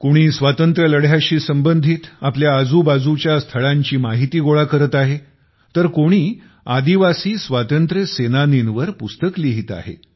कोणी स्वातंत्र्य लढ्याशी संबंधित आपल्या आजूबाजूच्या स्थळांची माहिती गोळा करत आहे तर कोणी आदिवासी स्वातंत्र्य सेनानीवर पुस्तक लिहित आहे